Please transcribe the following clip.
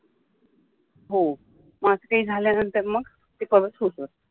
हो मग असा काय झाल्यानंतर मग ते केव्हाच होतं